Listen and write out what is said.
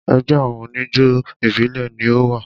Ẹgbẹ́ àwọn oníjó ìbílẹ̀ ni o wà.